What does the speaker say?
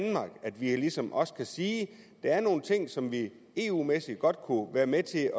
at vi ligesom også kan sige at der er nogle ting som vi eu mæssigt godt kunne være med til